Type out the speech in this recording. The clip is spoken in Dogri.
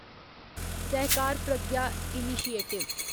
सहकार प्रज्ञा इनिशिएटिव